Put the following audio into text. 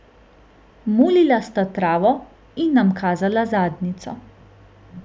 Mulila sta travo in nam kazala zadnjico.